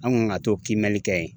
An kun ka t'o kiimɛli kɛ yen